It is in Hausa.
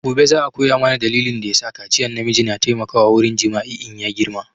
Gobe za a koya mana dalilin da ya sakaciyan na miji na taimakawa wurin jima'i in ya girma